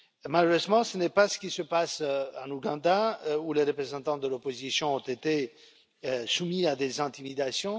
Malheureusement, ce n'est pas ce qui se passe en Ouganda, où les représentants de l'opposition ont été soumis à des intimidations.